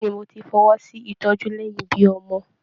Bẹ̀ẹ́ni, mo tí fọwọsi ìtọjú lẹyìn ibí ọmọ.